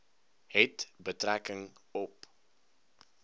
het betrekking op